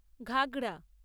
ঘাগড়া